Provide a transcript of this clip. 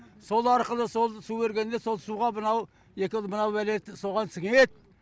сол арқылы сол су келгенде сол суға мынау мынау бәле соған сіңеді